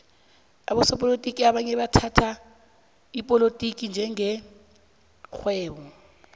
abosopolotiki abanye bathhatha ipolotiki njenge rhwebo